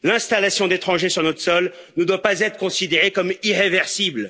L'installation d'étrangers sur notre sol ne doit pas être considérée comme irréversible.